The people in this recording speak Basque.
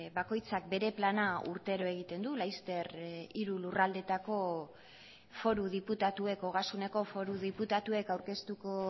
bakoitzak bere plana urtero egiten du laster hiru lurraldeetako foru diputatuek ogasuneko foru diputatuek aurkeztuko